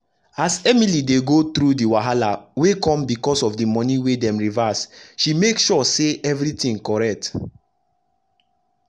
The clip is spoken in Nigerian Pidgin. as emily dey go through d wahala wey come becos of d moni wey dem reverse she make sure say everi tin correct